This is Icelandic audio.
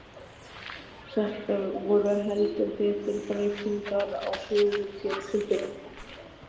Þetta voru heldur betur breytingar á högum fjölskyldunnar.